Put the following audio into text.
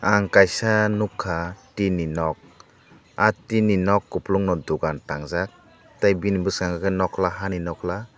ang kaisa nogkha tin ni nog ah tin ni nog koplong no dokan tangjak tei bini boskango nokla hani nokla.